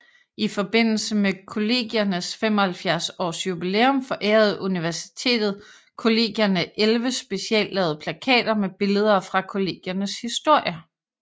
I forbindelse med Kollegiernes 75 års jubilæum forærede Universitetet Kollegierne 11 speciallavede plakater med billeder fra Kollegiernes historie